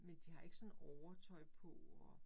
Men de har ikke sådan overtøj på og